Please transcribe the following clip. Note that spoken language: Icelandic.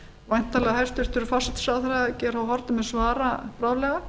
væntanlega hæstvirtur forsætisráðherra geir h haarde mun svara bráðlega